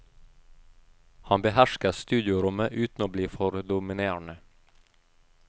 Han behersker studiorommet uten å bli for dominerende.